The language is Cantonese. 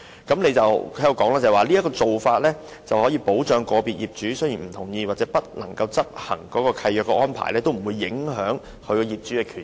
據局長所稱，"這做法能確保即使個別業主不同意或不能執行續契安排，仍不會影響其他業主的權益。